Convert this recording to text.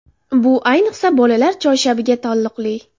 Bu, ayniqsa bolalar choyshabiga taalluqli.